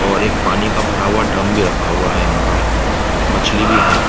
और एक पानी का भरा हुआ ड्रम भी रखा हुआ है यहाँ पर। मछली भी है।